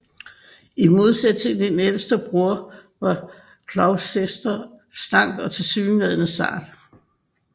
I modsætning til sin ældste bror var Gloucester slank og tilsyneladende sart